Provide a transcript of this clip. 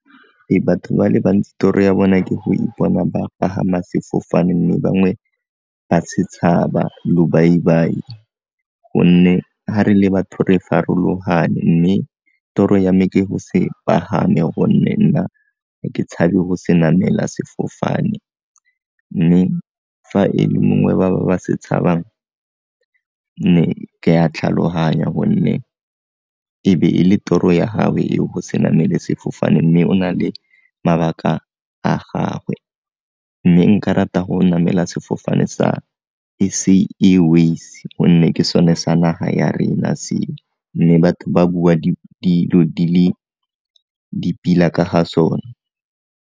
Ee, batho ba le bantsi toro ya bona ke go ipona ba pagama sefofane mme bangwe ba se tshaba lobaibai, gonne ga re le batho re farologane mme toro ya me ke go se pagame gonne nna ke tshabe go se namela sefofane, mme fa e le mongwe ba ba se tshabang ne ke ya tlhaloganya gonne ebe e le toro ya gagwe eo go se namele sefofane mme o na le mabaka a gagwe mme nka rata go namela sefofane sa S_A Airways gonne ke sone sa naga ya rena seo mme batho ba bua dilo le di pila ka ga sone.